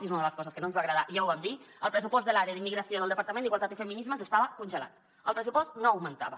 i és una de les coses que no ens va agradar i ja ho vam dir el pressupost de l’àrea d’immigració del departament d’igualtat i feminismes estava congelat el pressupost no augmentava